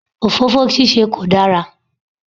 Òfófó ṣíṣe kò dára.